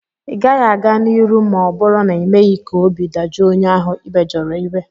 ị gaghị a-ga n'iru ma ọ bụrụ na ịmeghị ka obi dajụọ onye ahụ ị mejọrọ iwe